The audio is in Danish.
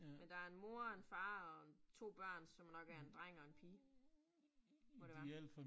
Men der en mor og en far og 2 børn, som nok er 1 dreng og 1 pige. Må det være